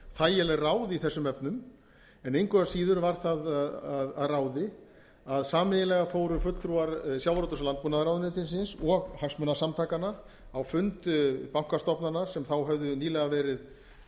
þægileg ráð í þessum efnum en engu að síður var það að ráði að sameiginlega fóru fulltrúar sjávarútvegs og landbúnaðarráðuneytisins og hagsmunasamtakanna á fund bankastofnana sem þá höfðu nýlega verið